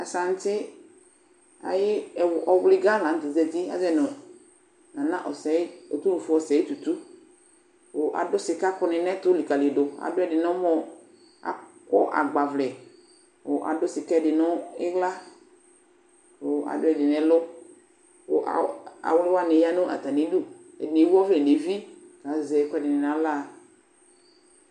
Asaŋti ayʋ ɔwliga la nʋ tɛ zǝtɩ Azɔyɩ nʋ Nana OSEYI Tutu, kʋ adʋ sikakʋ nɩ nʋ ɛtʋ lɩkǝlɩdʋ Adʋ ɛdɩ nʋ ɔmɔ Akɔ agbavlɛ kʋ adʋ sika ɛdɩ nʋ ɩɣla, kʋ adʋ ɛdɩ nʋ ɛlʋ Kʋ awli wanɩ ya nʋ atamɩ ɩdʋ Ɛdɩnɩ ewu ɔvlɛnʋ evi, kʋ azɛ ɛkʋ ɛdɩnɩ nʋ aɣla